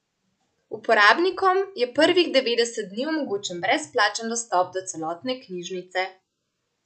Uporabnikom je prvih devetdeset dni omogočen brezplačen dostop do celotne knjižnice.